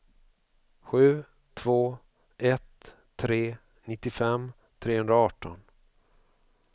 sju två ett tre nittiofem trehundraarton